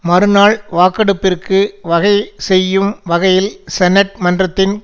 மறுநாள் வாக்கெடுப்பிற்கு வகை செய்யும் வகையில் செனட் மன்றத்தின்